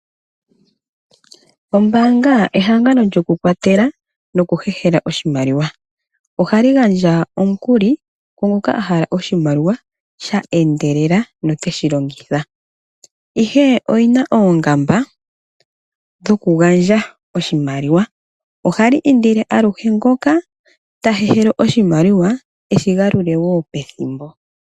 Ombanga ehangano lyoku kwatela noku hehela oshimaliwa. Ohali gandja omukuli kungoka ahala oshimaliwa sheendelela noteshi longitha. Ihe oyina oongamba dhoku gandja oshimaliwa. Ohali indile aluhe ngoka ta hehela oshimaliwa eshi galule wo pethimbo.